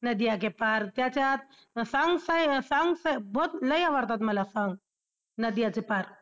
नदियां के पार त्याच्यात songsबहोत लई आवडतात मला songsनदियां के पार